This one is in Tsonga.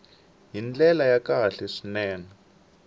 hi ndlela ya kahle swinene